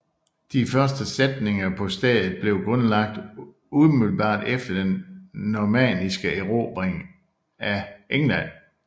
Den første fæstning på stedet blev grundlagt umiddelbart efter den normanniske erobring af England